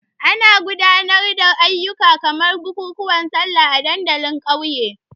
Ana gudanar da ayyuka kamar bukukuwan Sallah a dandalin ƙauye.